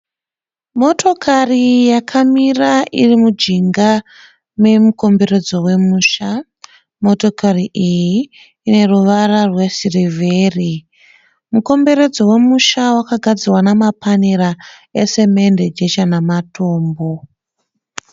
Motokari yakamira iri mujinga memukomberedzo wemusha. Motokari iyi ine ruvara rwesirivheri. Mukomberedzo wemusha wakagadzirwa nemapanera esemende, jecha namatombo.